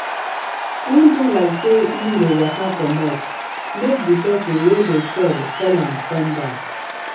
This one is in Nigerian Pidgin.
en do like say en dey waka comot make the person wey de sell call am come back.